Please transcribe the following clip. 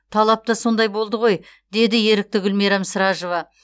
талап та сондай болды ғой деді ерікті гүлмирам сражова